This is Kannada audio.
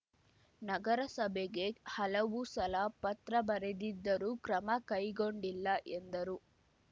ನಗರಸಭೆಗೆ ಹಲವು ಸಲ ಪತ್ರ ಬರೆದಿದ್ದರೂ ಕ್ರಮ ಕೈಗೊಂಡಿಲ್ಲ ಎಂದರು